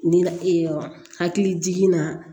Nin na hakili jiginna